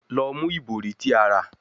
Lọ mu ibori ti a ra